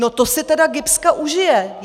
No, to si tedy GIBS užije!